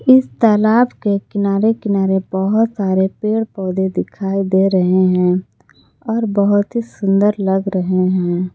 इस तालाब के किनारे किनारे बहोत सारे पेड़ पौधे दिखाई दे रहे हैं और बहोत ही सुंदर लग रहे हैं।